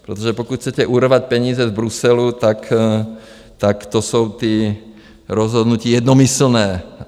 Protože pokud chcete urvat peníze z Bruselu, tak to jsou ty rozhodnutí jednomyslné.